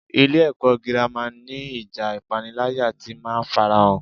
Ilé-ẹ̀kọ́ gírámà ni ìjà ipanilaya ti máa ń farahàn.